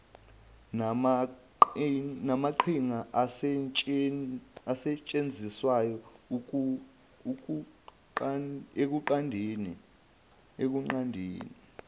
namaqhinga asetshenziswayo ekunqandeni